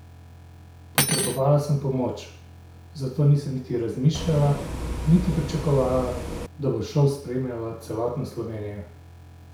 Potrebovala sem pomoč, zato nisem niti razmišljala, niti pričakovala, da bo šov spremljala celotna Slovenija.